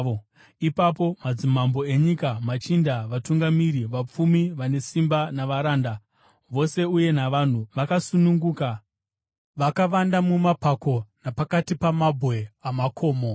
Ipapo madzimambo enyika, machinda, vatungamiri, vapfumi, vane simba, navaranda vose uye navanhu vakasununguka vakavanda mumapako napakati pamabwe amakomo.